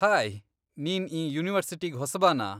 Hi, ನೀನ್ ಈ ಯುನಿವರ್ಸಿಟಿಗ್ ಹೊಸಬನಾ?